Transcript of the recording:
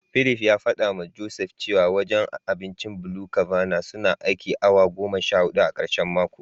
Philip ya fadawa Joseph cewa wajen abincin BluCabana suna aikin awa goma sha hudu a karshen mako.